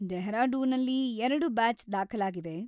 ಡೆಹ್ರಾಡೂನಲ್ಲಿ ಎರಡು ಬ್ಯಾಚ್‌ ದಾಖಲಾಗಿವೆ.